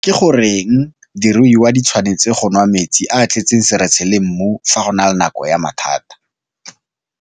Ke goreng diruiwa di tshwanetse go nwa metsi a a tletseng seretse le mmu fa go le nako ya mathata?